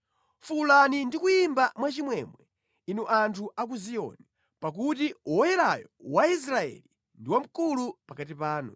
Fuwulani ndi kuyimba mwachimwemwe, inu anthu a ku Ziyoni; pakuti Woyerayo wa Israeli ndi wamkulu pakati panu.”